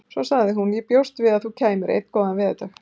Svo sagði hún: Ég bjóst við að þú kæmir. einn góðan veðurdag